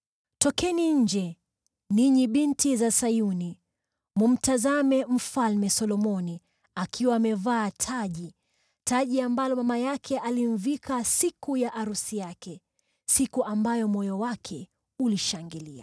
Tokeni nje, ninyi binti za Sayuni, mkamtazame Mfalme Solomoni akiwa amevaa taji, taji ambalo mama yake alimvika siku ya arusi yake, siku ambayo moyo wake ulishangilia.